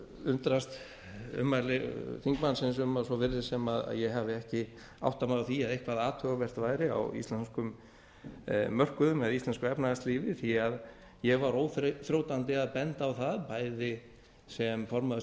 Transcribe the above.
undrast ummæli þingmannsins um að svo virðist sem ég hafi ekki áttað mig á því að eitthvað athugavert væri á íslenskum mörkuðum eða í íslensku efnahagslífi því að ég var óþrjótandi að benda á það bæði sem formaður